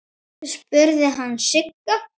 spurði hann Sigga.